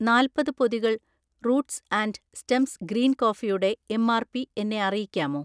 നാല്പത് പൊതികൾ roots and stems green കോഫിയുടെ എം.ആർ.പി എന്നെ അറിയിക്കാമോ?